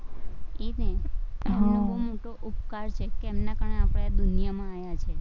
ઈ જ ને હમ એમનો તો ઉપકાર છે, તેમના કારણે આપણે આ દુનિયામાં આયા છીએ.